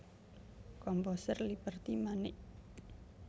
Komposer Liberty Manik